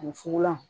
Ani fugolan